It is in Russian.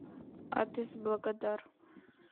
адрес благодар